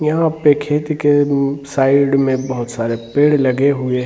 यहाँ पे खेती के साइड में बहुत सारे पेड़ लगे हुए हैं ।